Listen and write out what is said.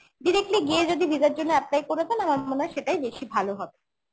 directly গিয়ে যদি visa র জন্য apply করে দেন আমার মনে হয় সেটাই বেশি ভালো হবে